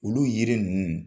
Olu yiri ninnu